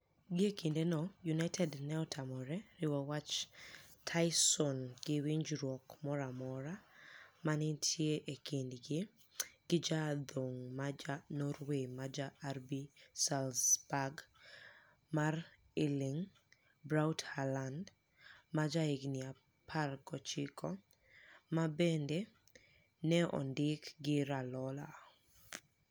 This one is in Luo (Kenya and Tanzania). Gie kinideno, Uniited ni e otamore riwo wach Tysoni gi winijruok moro amora ma ni e niitie e kinidgi gi ja adhonig' ma ja norway ma ja RB Saalzburg ma Erlinig Braut Haalanid, ma jahiginii 19, ma benide ni e onidik gi Raiola.